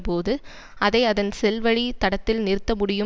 போது அதை அதன் செல்வழித் தடத்தில் நிறுத்த முடியும்